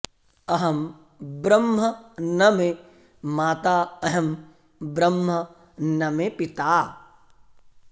अहं ब्रह्म न मे माता अहं ब्रह्म न मे पिता